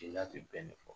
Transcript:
Jeliya tɛ bɛn fɔ